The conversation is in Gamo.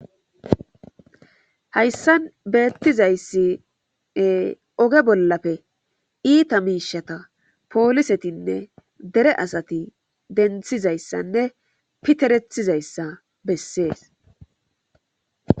hayssan beettizayssi oge bollafe iita miishata poolisetinne dere asati denthizayssanne piterethizayssa bessees